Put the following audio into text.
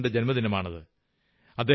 രാധാകൃഷ്ണന്റെ ജന്മദിനമാണ്